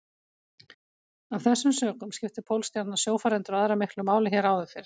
Af þessum sökum skipti Pólstjarnan sjófarendur og aðra miklu máli hér áður fyrr.